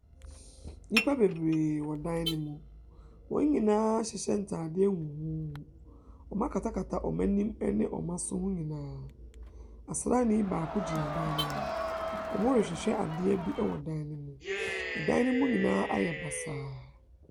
Nnipa bebree wɔ dan no mu. Wɔn nyinaa ahyehyɛ ntadeɛ huhuuhu. Wɔakatakata wɔn anim ne wɔn aso ho nyinaa. Ɔsraani baako gyina dan no mu. Wɔrehwehwɛ adeɛ bi wɔ dan no mu. Dan no mu nyinaa ayɛ basaa.